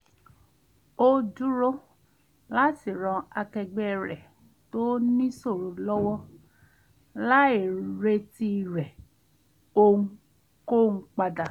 ó dúró láti ran akẹgbẹ́ rẹ̀ tó níṣòro lọ́wọ́ láì retí rẹ̀ ohunkóhun padà